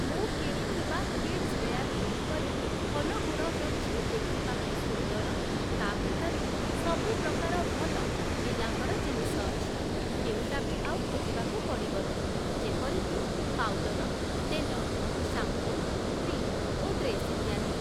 ମୁଁ କିଣିଥିବା କିଡ଼ସ୍ ୱେୟାରଗୁଡ଼ିକରେ ଭଲଗୁଣ ହେଉଛି ଦେଖିବାକୁ ସୁନ୍ଦର ତା ଭିତରେ ସବୁପ୍ରକାର ଭଲ ପିଲାଙ୍କର ଜିନିଷ ଅଛି କେଉଁଟା ବି ଆଉ ଖୋଜିବାକୁ ପଡ଼ିବନି ଯେପରିକି ପାଉଡର୍, ତେଲ, ସାମ୍ପୋ, କ୍ରିମ୍ ଓ ଡ୍ରେସ୍ ଇତ୍ୟାଦି ।